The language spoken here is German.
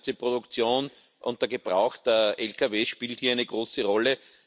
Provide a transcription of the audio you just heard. also die ganze Produktion und der Gebrauch der Lkw spielt hier eine große Rolle.